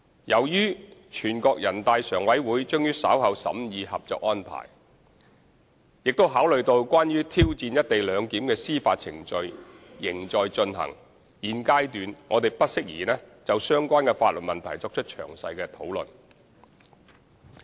由於全國人大常委會將於稍後審議《合作安排》，並考慮到關於挑戰"一地兩檢"的司法程序仍在進行，現階段我們不適宜就相關法律問題作出詳細討論。